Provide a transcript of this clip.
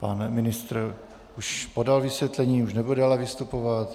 Pan ministr již podal vysvětlení, už nebude dále vystupovat.